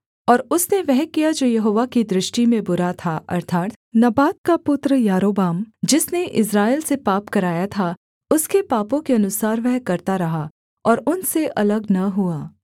और उसने वह किया जो यहोवा की दृष्टि में बुरा था अर्थात् नबात का पुत्र यारोबाम जिसने इस्राएल से पाप कराया था उसके पापों के अनुसार वह करता रहा और उनसे अलग न हुआ